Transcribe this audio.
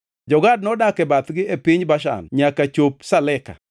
Jo-Gad nodak e bathgi e piny Bashan nyaka chop Saleka.